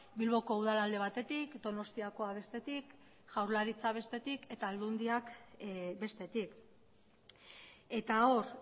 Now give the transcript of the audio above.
bilboko udala alde batetik donostiakoa bestetik jaurlaritza bestetik eta aldundiak bestetik eta hor